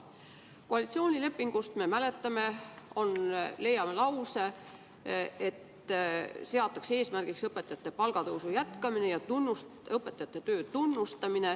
Seevastu koalitsioonilepingust leiame lause, et eesmärgiks seatakse õpetajate palgatõusu jätkamine ja õpetajate töö tunnustamine.